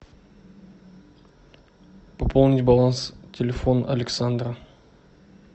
пополнить баланс телефон александра